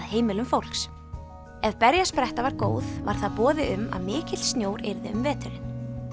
heimilum fólks ef berjaspretta var góð var það boði um að mikill snjór yrði um veturinn